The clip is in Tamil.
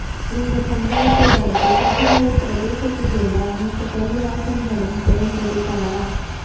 இந்தச் சம்பவத்தை அடுத்து தெஹிவளை பிரதேசத்திலுள்ள அனைத்துப் பள்ளிவாசல்களுக்கும் குறைந்தது தலா